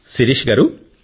శిరీష గారూ